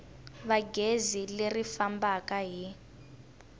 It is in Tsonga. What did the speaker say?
va gezi leri fambaka hi